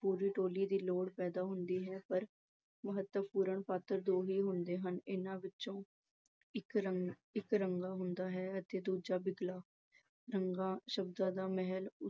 ਪੂਰੀ ਟੋਲੀ ਦੀ ਲੋੜ ਹੁੰਦੀ ਹੈ ਪਰ ਮਹੱਤਵਪੂਰਨ ਪਾਤਰ ਦੋ ਹੀ ਹੁੰਦੇ ਹਨ। ਇਹਨਾਂ ਵਿੱਚੋਂ ਇੱਕ ਰੰਗਾ ਹੁੰਦਾ ਹੈ ਤੇ ਦੂਜਾ ਬਿਗਲਾ। ਰੰਗਾ ਸ਼ਬਦਾਂ ਦਾ ਮਹਿਲ